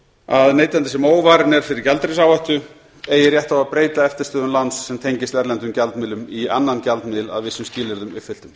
að neytandi sem óvarinn er fyrir gjaldeyrisáhættu eigi rétt á að breyta eftirstöðvum láns sem tengist erlendum gjaldmiðlum í annan gjaldmiðil að vissum skilyrðum uppfylltum